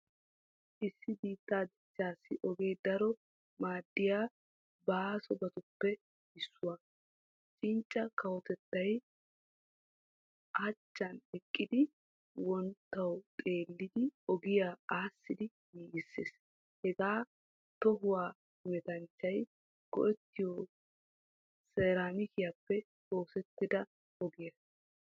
Issi biittaa dichchassi ogee daro maaddiyaa baasobatuppe issuwaa. Cincca kawotettay hachchan eqqidi wonttuwa xeelidi ogiyaa aasidi giigisees. Hagee toohuwaa hemetanchchay goettiyo seramikiyaappe oosettida ogiyaa.